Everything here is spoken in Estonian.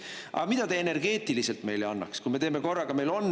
Aga mida te energeetiliselt meile annaks, kui me teeme korraga?